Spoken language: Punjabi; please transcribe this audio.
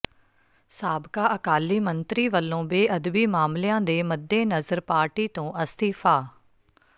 ਸਾਬਕਾ ਅਕਾਲੀ ਮੰਤਰੀ ਵੱਲੋਂ ਬੇਅਦਬੀ ਮਾਮਲਿਆਂ ਦੇ ਮੱਦੇਨਜ਼ਰ ਪਾਰਟੀ ਤੋਂ ਅਸਤੀਫ਼ਾ